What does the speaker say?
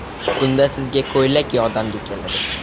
Bunda sizga ko‘ylak yordamga keladi.